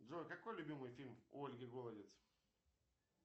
джой какой любимый фильм у ольги голодец